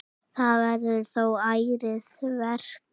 Það verður þó ærið verk.